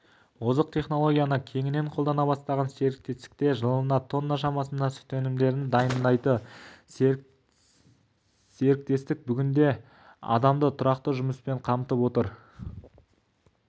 озық технолгияны кеңінен қолдана бастаған серіктестікте жылына тонна шамасында сүт өнімдерін дайындайды серіктестік бүгінде адамды тұрақты жұмыспен қамтып отыр